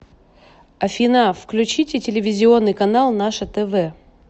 афина включите телевизионный канал наше тв